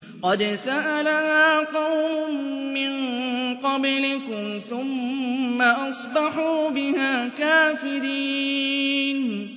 قَدْ سَأَلَهَا قَوْمٌ مِّن قَبْلِكُمْ ثُمَّ أَصْبَحُوا بِهَا كَافِرِينَ